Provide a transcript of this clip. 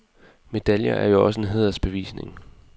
Medaljer er jo også en hædersbevisning.